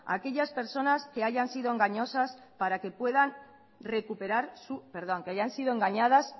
a aquellas personas que hayan sido engañadas